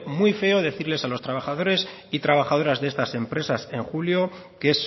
muy feo decirles a los trabajadores y trabajadoras de estas empresas en julio que